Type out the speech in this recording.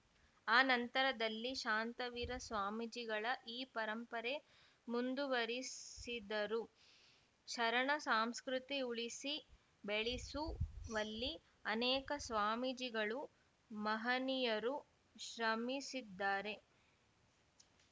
ಆ ನಂತರದಲ್ಲಿ ಶಾಂತವೀರ ಸ್ವಾಮಿಜಿಗಳ ಈ ಪರಂಪರೆ ಮುಂದುವರಿಸಿದರು ಶರಣ ಸಾಂಸ್ಕೃತಿ ಉಳಿಸಿ ಬೆಳೆಸುವಲ್ಲಿ ಅನೇಕ ಸ್ವಾಮೀಜಿಗಳು ಮಹನೀಯರು ಶ್ರಮಿಸಿದ್ದಾರೆ